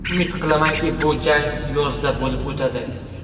Umid qilamanki, bu jang yozda bo‘lib o‘tadi.